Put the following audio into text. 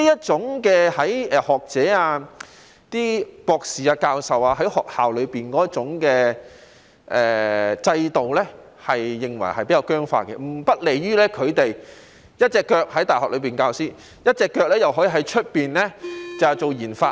這些學者、博士、教授認為學校裏的制度比較僵化，不利於他們一邊在大學授課，一邊在外面做研發。